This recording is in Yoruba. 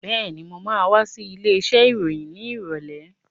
Been, mo ma wá sí ilé iṣẹ́ ìròyìn ní ìrọ̀lẹ́